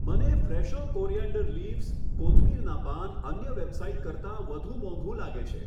મને Fresho coriander leaves, કોથમીરના પાન અન્ય વેબસાઈટ કરતાં વધુ મોંઘું લાગે છે.